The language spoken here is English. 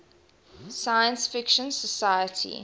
science fiction society